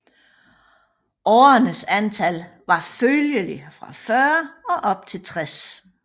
Årernes antal var følgelig fra 40 op til 60